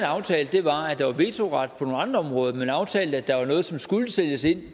aftalte var at der var vetoret på nogle andre områder man aftalte at der var noget som skulle sættes ind